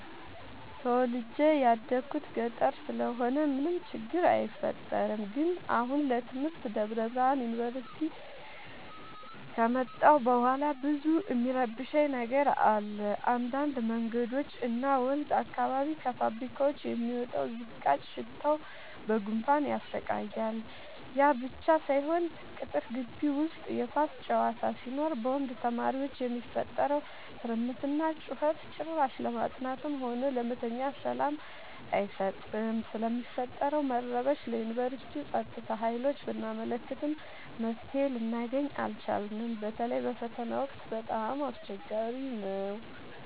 ተወልጄ የደኩት ገጠር ስለሆነ ምንም ችግር አይፈጠርም። ግን አሁን ለትምህርት ደብረብርሃን ዮንቨርሲቲ ከመጣሁ በኋላ ብዙ እሚረብሽ ነገር አለ እንዳድ መንገዶች እና ወንዝ አካባቢ ከፋብካዎች የሚወጣው ዝቃጭ ሽታው በጉንፋን ያሰቃያል። ያብቻ ሳይሆን ቅጥር ጊቢ ውስጥ የኳስ ጨዋታ ሲኖር በወንድ ተማሪዎች የሚፈጠረው ትርምስና ጩኸት ጭራሽ ለማጥናትም ሆነ ለመተኛት ሰላም አይሰጥም። ስለሚፈጠረው መረበሽ ለዮንቨርስቲው ፀጥታ ሀይሎች ብናመለክትም መፍትሔ ልናገኝ አልቻልም። በተለይ በፈተና ወቅት በጣም አስቸገሪ ነው።